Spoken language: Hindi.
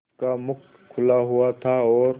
उसका मुख खुला हुआ था और